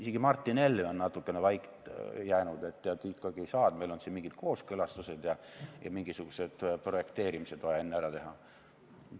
Isegi Martin Helme on natukene vait jäänud – tead, ikkagi ei saa, meil on siin mingid kooskõlastused ja mingisugused projekteerimised vaja enne ära teha.